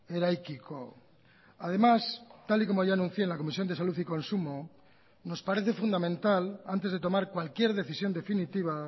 eraikiko además tal y como ya anuncié en la comisión de salud y consumo nos parece fundamental antes de tomar cualquier decisión definitiva